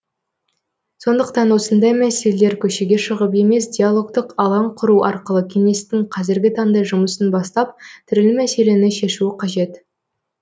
сондықтан осындай мәселелер көшеге шығып емес диалогтық алаң құру арқылы кеңестің қазіргі таңда жұмысын бастап түрлі мәселені шешуі қажет